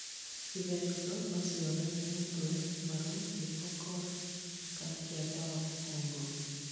ithemithũ nociyonanie mũtwe, maru, kĩgokora kana kĩanda wa mũgongo